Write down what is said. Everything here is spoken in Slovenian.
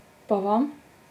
Pa vam?